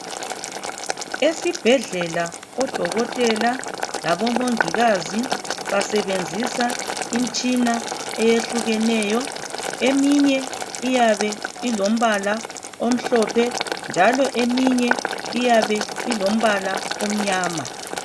Esibhedlela odokotela labomongikazi basebenzisa imitshina eyehlukeneyo, eminye iyabe ilompala omhlophe njalo eminye iyabe ilompala omnyama.